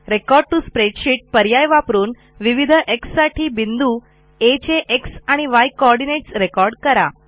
record to spreadsheet पर्याय वापरून विविध xसाठी बिंदू Aचे एक्स आणि य कोऑर्डिनेट्स रेकॉर्ड करा